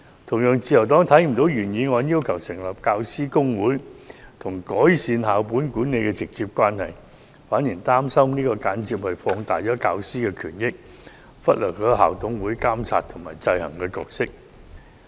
同樣地，自由黨看不到，原議案要求成立教師公會與改善校本管理之間有否直接關係，而且擔心這樣做會間接放大教師權益，忽略校董會的監察制衡角色。